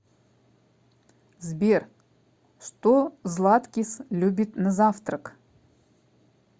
сбер что златкис любит на завтрак